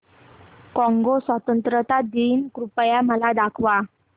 Congo स्वतंत्रता दिन कृपया मला दाखवा